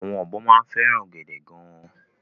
Àwọn ọ̀bọ máa ń fẹ́ràn ọ̀gẹ̀dẹ̀ gan-an.